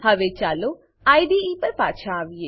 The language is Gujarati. હવે ચાલો આઇડીઇ પર પાછા આવીએ